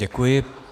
Děkuji.